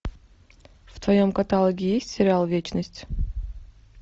в твоем каталоге есть сериал вечность